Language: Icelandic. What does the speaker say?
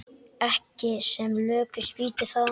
Ekki sem lökust býti það.